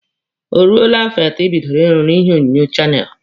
O ruole afọ atọ ibidoro ịrụ na ihe onyonyo channel?